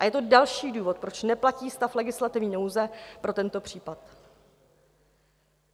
A je to další důvod, proč neplatí stav legislativní nouze pro tento případ.